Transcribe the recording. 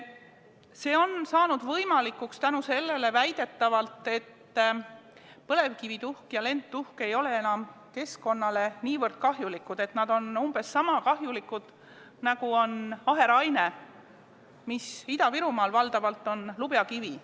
See on saanud võimalikuks tänu sellele, et põlevkivituhk ja lendtuhk ei ole väidetavalt enam keskkonnale niivõrd kahjulikud, nad on umbes niisama kahjulikud, nagu on aheraine, mis Ida-Virumaal on valdavalt lubjakivi.